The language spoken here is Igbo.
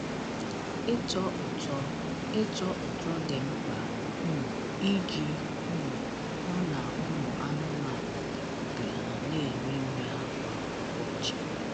Ịtọ ụtọ Ịtọ ụtọ dị mkpa um iji um hụ na ụmụ anụmanụ ji obi ha na-eri nri ha kwa ụbọchị.